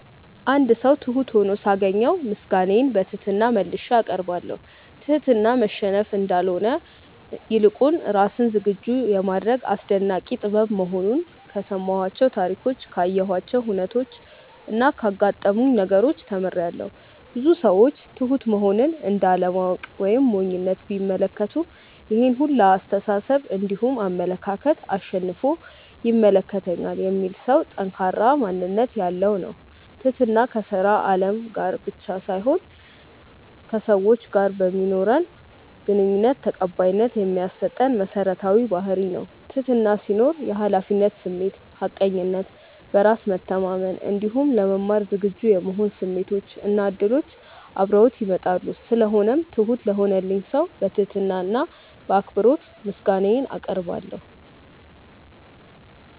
አንድ ሰው ትሁት ሁኖ ሳገኘው ምስጋናዬን በትህትና መልሼ አቀርባለሁ። ትህትና መሸነፍ እንዳልሆነ ይልቁንም ራስን ዝግጁ የማድረግ አስደናቂ ጥበብ መሆኑን ከሰማኋቸው ታሪኮች ካየኋቸው ሁነቾች እና ካጋጠሙኝ ነገሮች ተምሬያለው። ብዙ ሰዎች ትሁት መሆንን እንደ አለማወቅ ወይም ሞኝነት ቢመለከቱትም ይሄን ሁላ አስተሳሰብ እንዲሁም አመለካከት አሸንፎ ይመለከተኛል የሚል ሰው ጠንካራ ማንነት ያለው ነው። ትህትና ከስራ አለም ላይ ብቻ ሳይሆን ከሰዎች ጋር በማኖረን ግንኙነት ተቀባይነት የሚያሰጠን መሰረታዊ ባህርይ ነው። ትህትና ሲኖር የሀላፊነት ስሜት፣ ሀቀኝነት፣ በራስ መተማመን እንዲሁም ለመማር ዝግጁ የመሆን ስሜቶች እና እድሎች አብረውት ይመጣሉ። ስለሆነው ትሁት ለሆነልኝ ሰው በትህትና እና በአክብሮት ምስጋናዬን አቀርባለሁ።